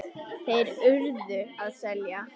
Þeir URÐU að selja.